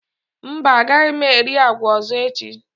Mba, agaghị m eri agwa ọzọ echi.